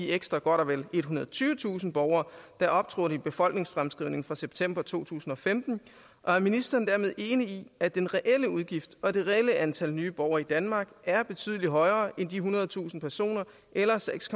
ekstra godt og vel ethundrede og tyvetusind borgere der optrådte i befolkningsfremskrivningen fra september to tusind og femten og er ministeren dermed enig i at den reelle udgift og det reelle antal nye borgere i danmark er betydelig højere end de ethundredetusind personer eller seks